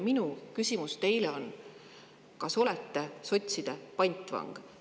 Minu küsimus teile on: kas te olete sotside pantvang?